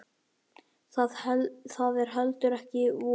Það er heldur ekki von.